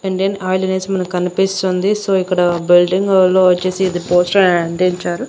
Indian Oil అనేసి మనకు కనిపిస్తుంది సో ఇక్కడ బిల్డింగ్ లో వచ్చేసి ఇది పోస్టర్ అని అంటించారు.